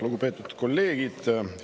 Lugupeetud kolleegid!